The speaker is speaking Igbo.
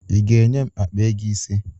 Ị ga-enye m akpa ego ise?